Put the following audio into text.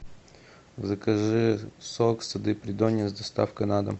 закажи сок сады придонья с доставкой на дом